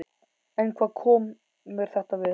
En hvað kom mér þetta við?